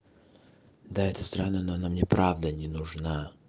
да это странно но она мне правда не нужно